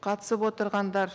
қатысып отырғандар